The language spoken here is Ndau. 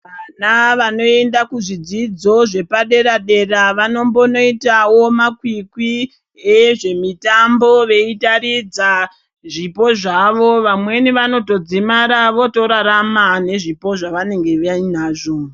Vana vanoenda ku zvidzidzo zvepa dera dera vanombono itawo makwikwi e zve mitambo veita ridza zvipo zvavo vamweni vanotodzimara votorarama nezvipo zvavanenge vainazvo.